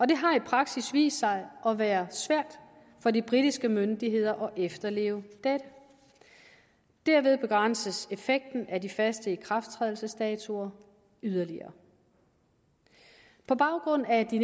det har i praksis vist sig at være svært for de britiske myndigheder at efterleve dette derved begrænses effekten af de faste ikrafttrædelsesdatoer yderligere på baggrund af de